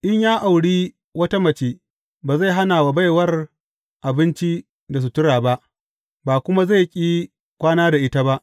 In ya auri wata mace, ba zai hana wa baiwar abinci da sutura ba, ba kuma zai ƙi kwana da ita ba.